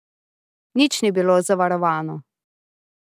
Nič ni bilo zavarovano.